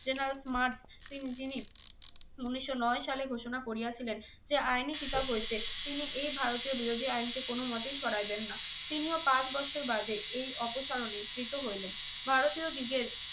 তিনি যিনি উনিশশো নয় সালে ঘোষণা করিয়াছিলেন যে আইনি কিতাব হইতে তিনি এ ভারতীয় বিরোধী আইন কে কোন মতেই সরাইবেন না। তিনিও পাঁচ বৎসর বাদে এই অপসারণে কৃত হইলেন। ভারতীয় দিগের